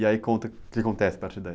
E aí conta o que acontece a partir daí.